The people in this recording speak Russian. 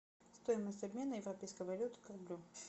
стоимость обмена европейской валюты к рублю